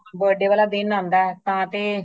ਉਹ ਦਿਨ ਆਉਂਦਾ ਹੈ birthday ਵਾਲਾ ਦਿਨ ਆਉਂਦਾ ਹੈ ਤਾ ਤੇ